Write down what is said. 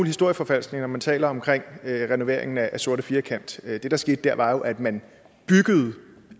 historieforfalskning når man taler om renoveringen af den sorte firkant det der skete der var jo at man byggede